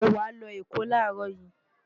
mo wàá lọ Èkó láàárọ̀ yìí